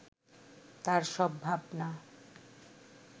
তার সব ভাবনা